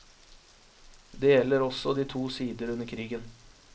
Det gjelder også de to sider under krigen.